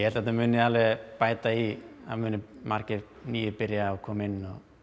þetta muni alveg bæta í það muni margir nýir byrja og koma inn